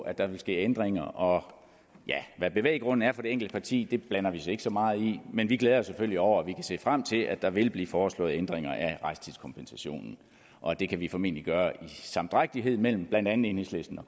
at der vil ske ændringer og hvad bevæggrunden er for det enkelte parti blander vi os ikke så meget i men vi glæder os selvfølgelig over at vi kan se frem til at der vil blive foreslået ændringer af rejsetidskompensationen og det kan vi formentlig gøre i samdrægtighed mellem blandt andet enhedslisten og